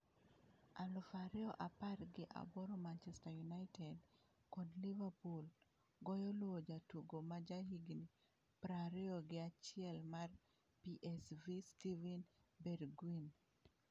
Aluf ariyo apar gi aboro Manchester United kod Liverpool goyo luwo jatugo ma jahigni prariyogi achiel mar PSV Steven Bergwijn.